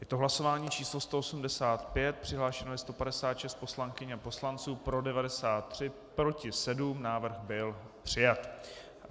Je to hlasování číslo 185, přihlášeno je 156 poslankyň a poslanců, pro 93, proti 7, návrh byl přijat.